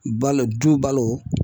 Balo du balo